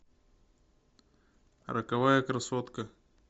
роковая красотка